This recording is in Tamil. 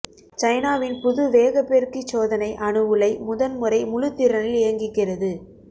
சைனாவின் புது வேகப் பெருக்கிச் சோதனை அணு உலை முதன்முறை முழுத்திறனில் இயங்குகிறது